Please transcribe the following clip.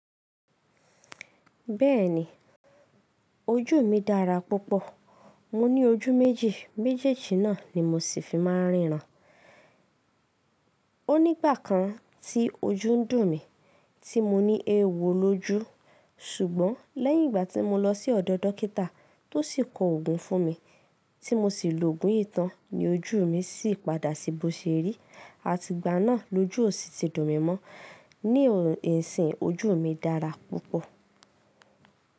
Bẹ́ẹ̀ni ojú mi dára púpọ̀. Mo ní ojú méjì, méjèèjì náà ni mo sì fi máa ríran. Ó nígbà kan tí ojú ń dùn mí tí mo ní eéwo lójú. Ṣùgbọ́n lẹ́yìn ìgbà tí mo lọ sí ọ̀dọ̀ dókítà tó sì kọ òògùn fún mi tí mo sì lò òògùn yìí tán ni ojú mi sì padà sí bó ṣe rí. Àti ìgbà náà lojú ò sí ti dùn mí mọ́. Ní ìsìn ojú mi dára púpọ̀.